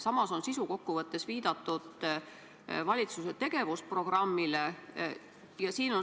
Samas on sisukokkuvõttes viidatud valitsuse tegevusprogrammile.